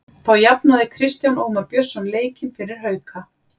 Þá jafnaði Kristján Ómar Björnsson leikinn fyrir Hauka.